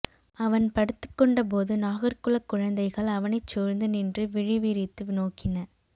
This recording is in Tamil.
அவன் படுத்துக் கொண்டபோது நாகர் குலக்குழந்தைகள் அவனைச்சூழ்ந்து நின்று விழி விரித்து நோக்கின